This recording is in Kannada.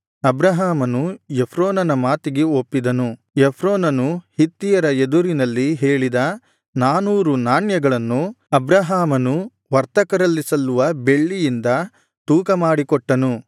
ಅಬ್ರಹಾಮನು ಎಫ್ರೋನನ ಮಾತಿಗೆ ಒಪ್ಪಿದನು ಎಫ್ರೋನನು ಹಿತ್ತಿಯರ ಎದುರಿನಲ್ಲಿ ಹೇಳಿದ ನಾನೂರು ನಾಣ್ಯಗಳನ್ನು ಅಬ್ರಹಾಮನು ವರ್ತಕರಲ್ಲಿ ಸಲ್ಲುವ ಬೆಳ್ಳಿಯಿಂದ ತೂಕ ಮಾಡಿಕೊಟ್ಟನು